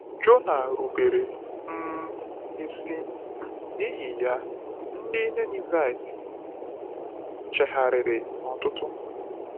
Jona rubere um isi, n’ihi ya, ndị Ninevite chegharịrị n’ọtụtụ.